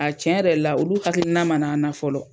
A tiɲɛ yɛrɛ la olu hakilina mana na fɔlɔ.